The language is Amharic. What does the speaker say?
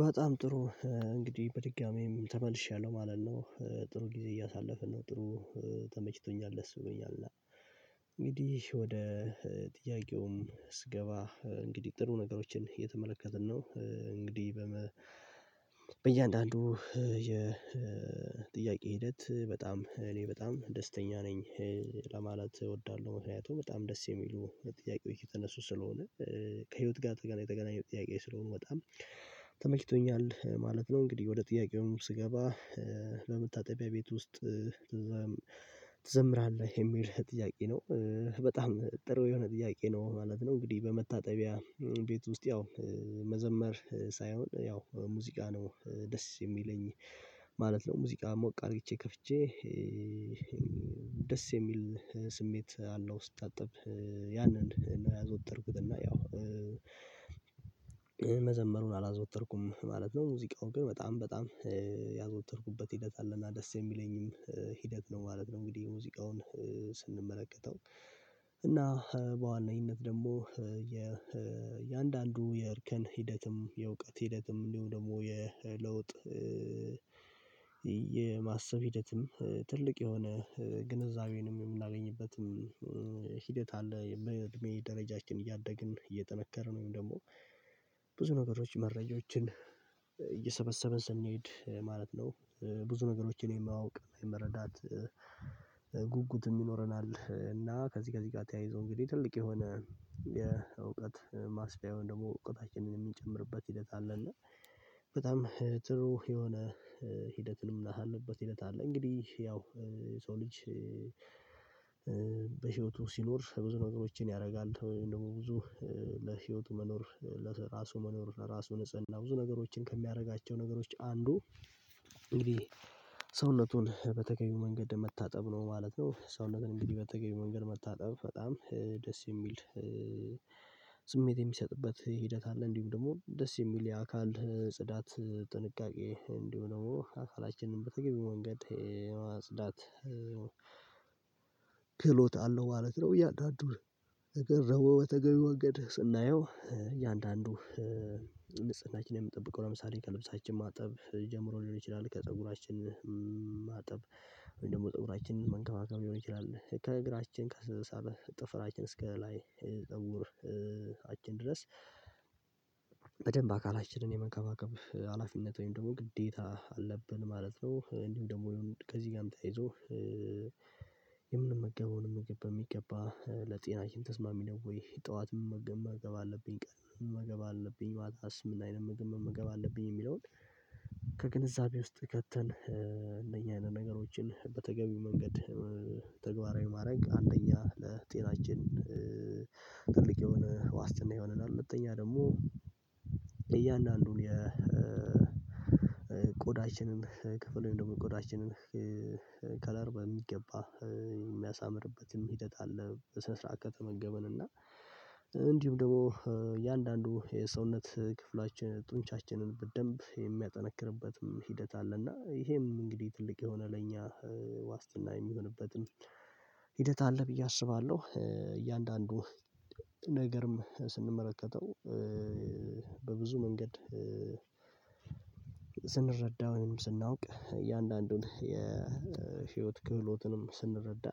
በጣም ጥሩ እንግዲህ በድጋሚም ተመልሻለሁ ማለት ነው ጥሩ ጊዜ እያሳለፍን ነው ጥሩ ተመችቶኛል ደስ ብሎኛል። እና እንግዲህ ወደ ጥያቄውም እስገባ እንግዲህ ጥሩ ነገሮችን የተመለከትን ነው እንግዲህ በመ በእያንዳንዱ የ የጥያቄ ሂደት በጣም እኔ በጣም ደስተኛ ነኝ። ለማለት እወዳለሁ ምክንያቱም በጣም ደስ የሚሉ የጥያቄው እየተነሱ ስለሆነ ከህይወት ጋር የተገናኝ የተገናኘው ጥያቄ ስለሆኑ በጣም ተመችቶኛል ማለት ነው። እንግዲህ ወደ ጥያቄውም ስገባ በመታጠቢያ ቤት ውስጥ ትዘምራለህ የሚል ጥያቄ ነው? በጣም ጥሩ የሆነ ጥያቄ ነው ማለት ነው። እንግዲህ በመታጠቢያ ቤት ውስጥ ያው መዘመር ሳይሆን ያው ሙዚቃ ነው ደስ የሚለኝ ማለት ነው። ሙዚቃ ሞቅ አድርጌ ከፍቼ ደስ የሚል ስሜት አለው። ስታጠብ ያንን ነው ያዘወተርኩት እና ያው መዘመሩን አላዘወተርኩም ማለት ነው። ሙዚቃው ግን በጣም በጣም ያዘወተርኩበት ሂደት አለ እና ደስ የሚለኝም ሂደት ነው ማለት ነው። እንግዲህ ሙዚቃውን ስንመለከተው እና በዋነኝነት ደግሞ የአንዳንዱ የእርከን ሂደትም የእውቀት ሂደትም እንዲሁ ደግሞ የለውጥ የማሰብ ሂደትም ትልቅ የሆነ ግንዛቤንም የምናገኝበትም ሂደትም አለ። እድሜ ደረጃችን እያደግን እየጠነከረን ወይም ደግሞ ብዙ ነገሮች መረጃዎችን እየሰበሰበ ስንሄድ ማለት ነው። ብዙ ነገሮችን የማወቅ የመረዳት ጉጉት የምይኖረናል እና ከዚህ ከዚህ ጋር ተያይዞ እንግዲህ ትልቅ የሆነ የእውቀት ማስታወሻውን ደግሞ እውቀታችንን የምንጨምርበት ሂደት አለ እና በጣም ጥሩ የሆነ ሂደትንም ምናሳልፍበት ሂደት አለ። እንግዲህ ያው ሰው ልጅ በህይወቱ ሲኖር ብዙ ነገሮችን ያደርጋል ወይም ደግሞ ብዙ ለህይወቱ መኖር ለራሱ መኖር ለራሱ ንጽህና ብዙ ነገሮችን ከሚያደርጋቸው ነገሮች አንዱ እንግዲህ ሰውነቱን በተገቢው መንገድ መታጠብ ነው። ማለት ነው ሰውነትን እንግዲህ በተገቢ መንገድ መታጠብ በጣም ደስ የሚል ስሜት የሚሰጥበት ሂደት አለ። እንዲሁም ደግሞ ደስ የሚል የአካል ጽዳት ጥንቃቄ እንዲሆን ነው አካላችንን በተገቢ መንገድ የማጽዳት ክህሎት አለው ማለት ነው። እያንዳዱን ነገር ነው በተገቢ ወንገድ ስናየው እያንዳንዱ ንጽህናችን የምጠብቀው ለምሳሌ ከልብሳችን ማጠብ ጀምሮ ሊሆን ይችላል። ከፀጉራችን ማጠብ ወይም ደግሞ ፀጉራችንን መንከባከብ ሊሆን ይችላል። ከእግራችን ከሰላሳ ጥፍራችን እስከ ላይ ፀጉር አችን ድረስ በደንብ አካላችንን የመከባከብ ሀላፊነት ወይም ደግሞ ግዴታ አለብን ማለት ነው። እንዲሁ ደግሞ ከዚህ ጋርም ተይዞ የምንመገበውን የምንገባ በሚገባ ለጤናችን ተስማሚ ነው። ወይ ጠዋት ምን መመገብ አለብኝ ቀን መመገብ አለብኝ ማታስ ምናይነት ምግብ መገመገብ አለብኝ? የሚለውን ከግንዛቤ ውስጥ ከተን እነኚህ አይነት ነገሮችን በተገቢው መንገድ ተግባራዊ ማድረግ አንደኛ ለጤናችን ትልቅ የሆነ ዋስትና የሆነና ሁለተኛ ደግሞ እያንዳንዱን የቆዳችንን ክፍሉን ደግሞ ጎዳችንን ከለር በሚገባ የሚያሳምርበትም ሂደት አለ። በስነ ከተመገብን እና እንዲሁም ደግሞ እያንዳንዱ የሰውነት ክፍላችን ጡንቻችንን በደንብ የሚያጠነክርበትም ሂደት አለ። እና ይሄም እንግዲህ ትልቅ የሆነ ለኛ ዋስትና የሚሆንበትን ሂደት አለ ብዬ አስባለሁ። እያንዳንዱ ነገርም ስንመለከተው በብዙ መንገድ ስንረዳው ወይም ስናውቅ እያንዳንዱን የህይወት ክህሎትንም ስንረዳ